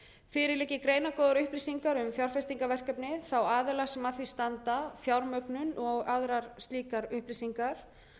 fyrir liggja greinargóðar upplýsingar um fjárfestingarverkefni þeirra aðila sem að því standa fjármögnun og aðrar slíkar upplýsingar